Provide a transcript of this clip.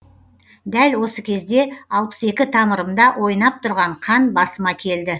дәл осы кезде алпыс екі тамырымда ойнап тұрған қан басыма келді